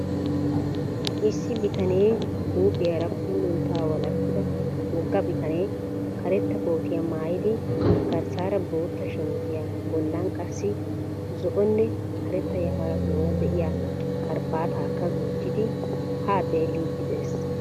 Issi bitane huuphiyaara puuluntta walakida wogga bitane karetta kootiyaa maayidi garssaara bootta shamisiya bollan qassi zo"onne karetta yafaratuura de"iyaa karabaatakka gujjidi haa xeelliiddi de'ees.